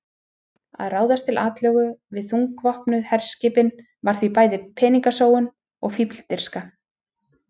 Að ráðast til atlögu við þungvopnuð herskipin var því bæði peningasóun og fífldirfska.